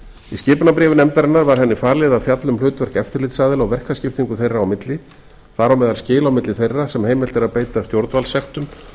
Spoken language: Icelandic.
í skipunarbréfi nefndarinnar var henni falið að fjalla um hlutverk eftirlitsaðila og verkaskiptingu þeirra á milli þar á meðal skil á milli þeirra sem heimilt er að beita stjórnvaldssektum